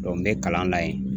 n bɛ kalan na yen